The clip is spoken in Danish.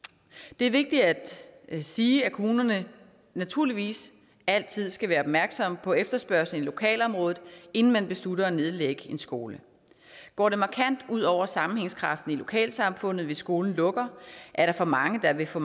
det er vigtigt at sige at kommunerne naturligvis altid skal være opmærksomme på efterspørgslen i lokalområdet inden man beslutter at nedlægge en skole går det markant ud over sammenhængskraften i lokalsamfundet hvis skolen lukker er der for mange der vil få